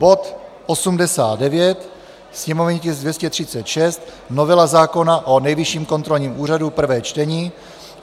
bod 89, sněmovní tisk 236 - novela zákona o Nejvyšším kontrolním úřadu, prvé čtení,